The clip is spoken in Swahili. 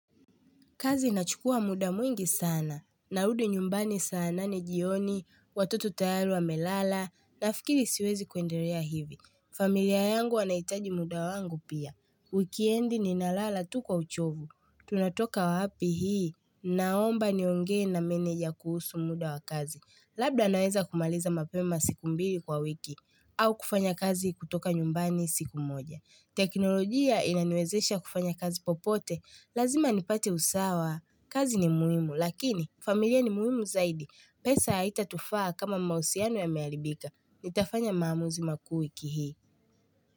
Kazi inachukua muda mwingi sana, narudi nyumbani saa nane jioni, watoto tayari wamelala, nafikiri siwezi kuendelea hivi. Familia yangu wanahitaji muda wangu pia. Wikendi ninalsyala tu kwa uchovu. Tunatoka wapi hii, naomba niongee na meneja kuhusu muda wa kazi. Labda naweza kumaliza mapema siku mbili kwa wiki, au kufanya kazi kutoka nyumbani siku moja. Teknolojia inaniwezesha kufanya kazi popote Lazima nipate usawa. Kazi ni muhimu Lakini familia ni muhimu zaidi. Pesa haitatufaa kama mahusiano yameharibika. Nitafanya maamuzi makuu wiki hii.